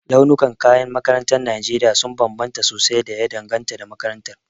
Launukan kayan makaranta a Najeriya sun bambanta sosai da ya danganta da makaranta.